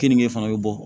Kenige fana bɛ bɔ